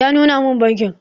Ya nuna mun bankin